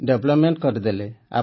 development କରିଦେଲେ